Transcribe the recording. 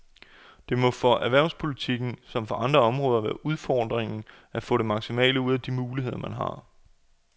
Det må for erhvervspolitikken som for andre områder være udfordringen at få det maksimale ud af de muligheder, man har.